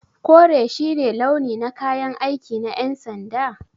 Kore shi ne launi na kayan aiki na yan'sanda?